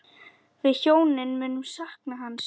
Við hjónin munum sakna hans.